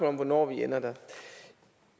om hvornår vi ender der